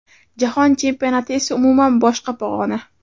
Jahon Chempionati esa umuman boshqa pog‘ona.